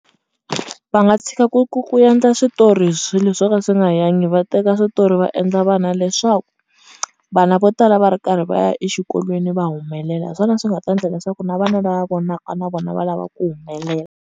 Va nga tshika ku ku ku endla hi switori hi swilo swo ka swi nga yangi va teka switori va endla vana leswaku vana vo tala va ri karhi va ya exikolweni va humelela hi swona swi nga ta ndla leswaku na vana lava vona na vona va lava ku humelela.